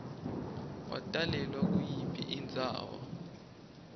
watalelwa kuyiphi indzawo